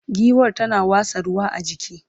giwar tana watsa ruwa a jiki